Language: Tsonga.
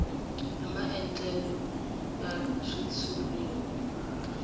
hi maandlalelo ya xitshuriwa hi